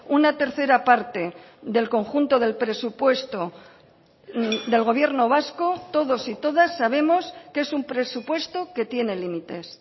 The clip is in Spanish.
una tercera parte del conjunto del presupuesto del gobierno vasco todos y todas sabemos que es un presupuesto que tiene límites